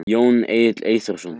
Jón Egill Eyþórsson.